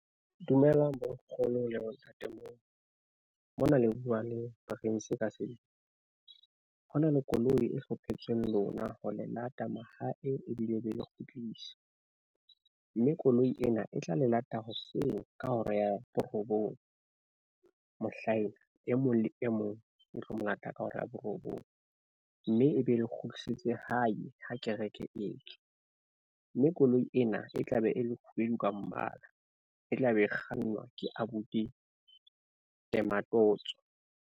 Dumelang bonkgono le bontate moholo mona le bua le Prince ka sebele. Ho na le koloi e hlophetsweng lona ho le lata mahae ebile e be e le kgutlisetse, mme koloi ena e tla le lata hoseng ka hora ya borobong mohlaena. E mong le e mong e tlo mo lata ka hora ya borobong. Mme e be e le kgutlisetse hae ha kereke e tswa. Mme koloi ena e tla be e le kgubedu ka mmala. E tla be e kgannwa ke abuti Ngematotso.